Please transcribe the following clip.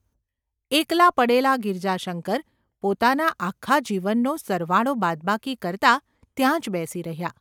એકલા પડેલા ગિરજાશંકર પોતાના આખા જીવનનો સરવાળો-બાદબાકી કરતા ત્યાં જ બેસી રહ્યા.